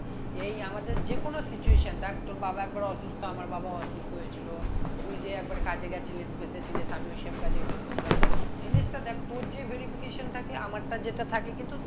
এই আমাদের যেকোনো situation দেখ তোর বাবা একবার অসুস্থ আমার বাবাও অসুস্থ হয়েছিল তুই যে একবার কাজে গেছিলিস ফেসেছিলিস আমিও same কাজেই ফেসে ছিলাম তো জিনিসটা দেখ তোর যে verification থাকে আমারটা যেটা থাকে কিন্তু